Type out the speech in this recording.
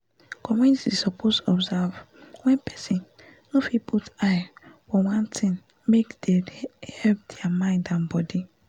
communities suppose observe wen person not fit put eye one thing make dey help dia mind and body